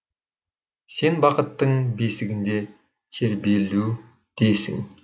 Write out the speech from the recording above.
сен бақыттың бесігінде тербелудесің